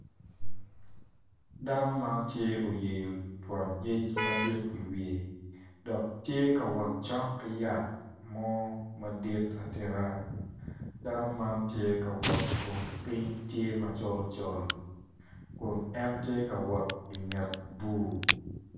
Dano man tye oyeyo twon yec madit i wiye dok tye ka wot cok ki yat mo madit atika dano ma tye ka wot kun piny tye macol col kun en the ka wot i nget bur.